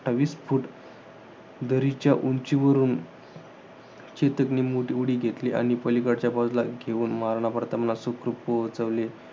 अठ्ठावीस फुट दरीच्या उंचीवरून चेतकने मोठी उडी घेतली आणि पलीकडच्या बाजूला घेऊन महाराणा प्रतापला सुखरूप पोहोचवले.